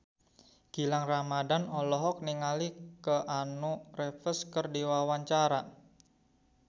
Gilang Ramadan olohok ningali Keanu Reeves keur diwawancara